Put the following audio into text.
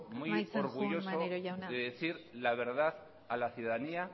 maneiro jauna me siento muy orgulloso de decir la verdad a la ciudadanía